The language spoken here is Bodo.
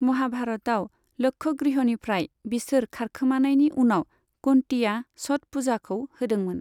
महाभारतआव, लक्षगृहनिफ्राय बिसोर खारखोमानायनि उनाव कुन्तिया छठ पुजाखौ होदोंमोन।